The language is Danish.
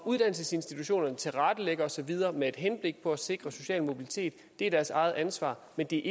uddannelsesinstitutionerne tilrettelægger og så videre med henblik på at sikre social mobilitet er deres eget ansvar men det